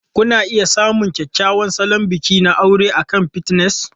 Kuna iya samun kyakkyawan salon bikin aure akan Pinterest.